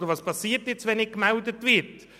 Und was passiert, wenn nicht informiert wird?